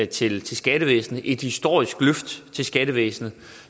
til til skattevæsenet et historisk løft til skattevæsenet